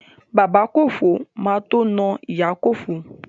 Bàbá Kòfó má tó na ìyá Kòfó.